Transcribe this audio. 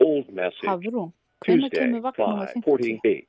Hafrún, hvenær kemur vagn númer fimmtíu?